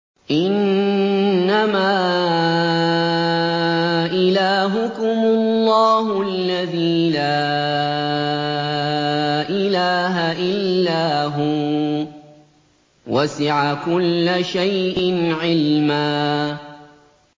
إِنَّمَا إِلَٰهُكُمُ اللَّهُ الَّذِي لَا إِلَٰهَ إِلَّا هُوَ ۚ وَسِعَ كُلَّ شَيْءٍ عِلْمًا